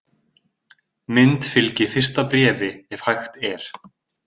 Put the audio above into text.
Mynd fylgi fyrsta bréfi ef hægt er.